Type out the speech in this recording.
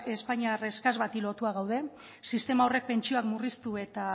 espainiar eskas bati lotua gaude sistema horrek pentsioak murriztu eta